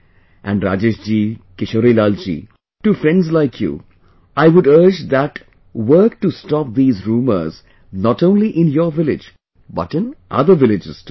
And Rajesh ji, Kishorilal ji, to friends like you I would urge that work to stop these rumours not only in your village but in other villages too